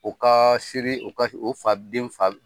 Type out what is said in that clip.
U ka siri u ka o fa den fa